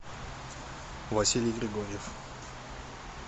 василий григорьев